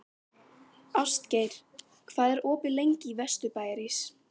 Ástgeir, hvað er opið lengi í Vesturbæjarís?